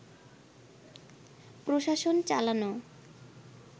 প্রশাসন চালানো